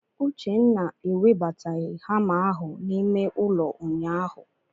Uchenna ewebataghị hama ahụ n'ime ụlọ ụnyaahụ.